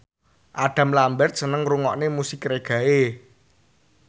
Adam Lambert seneng ngrungokne musik reggae